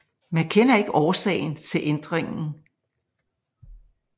Man kender ikke til årsagen til ændringen